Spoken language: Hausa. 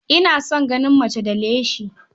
Ina son ganin mace da leshi.